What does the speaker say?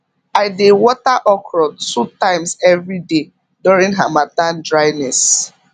i dey water okra two times every day during harmattan dryness